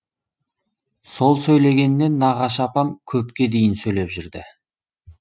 сол сөйлегеннен нағашы апам көпке дейін сөйлеп жүрді